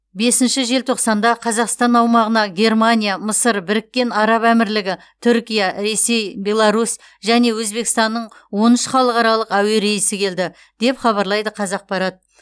бесінші желтоқсанда қазақстан аумағына германия мысыр біріккен араб әмірлігі түркия ресей беларусь және өзбекстанның он үш халықаралық әуе рейсі келді деп хабарлайды қазақпарат